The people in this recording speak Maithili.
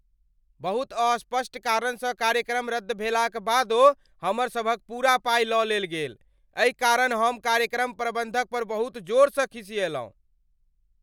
बहुत अस्पष्ट करण स कार्यक्रम रद्द भेला क बादो हमरा सभक पूरा पाइ लऽ लेल गेल, एहि कारण हम कार्यक्रम प्रबन्धकपर बहुत जोर स खिसिएलहुँ ।